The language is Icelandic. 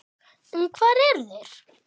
En hvar eru þeir?